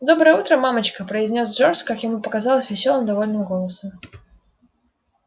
доброе утро мамочка произнёс джордж как ему показалось весёлым довольным голосом